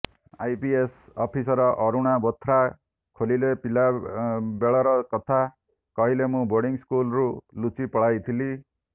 IPS officer Aruna Bothra ଖୋଲିଲେ ପିଲା ବେଳର କଥା କହିଲେ ମୁଁ ବୋର୍ଡିଂ ସ୍କୁଲରୁ ଲୁଚି ପଳାଇଥିଲି